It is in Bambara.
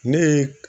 Ne ye